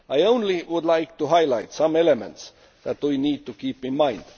I would just like to highlight some elements that we need to keep in mind.